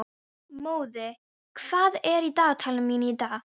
Móði, hvað er á dagatalinu mínu í dag?